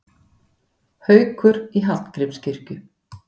Haukur í Hallgrímskirkju